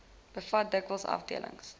bevat dikwels afdelings